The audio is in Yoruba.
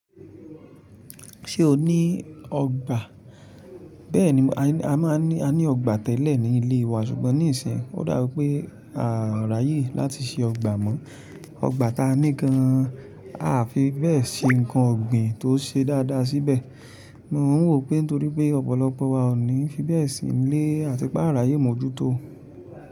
Ṣé o ní ọgbà? Bẹ́ẹ̀ni, a ní ọgbà tẹ́lẹ̀ ní ilé wa ṣùgbọ́n níìsín, ó dàbi wipé à rà yé láti ṣe ọgbà mọ́. Ọgbà ta ní gan-an, à fi bẹ́ẹ̀ ṣe nǹkan ọ̀gbìn tó ṣe dáadáa síbẹ̀. Mo n wò pé torí pé ọ̀pọ̀lọpọ̀ wa ò ní fi bẹ́ẹ̀ sí ilé àti pá à rà yé mọ́jútó.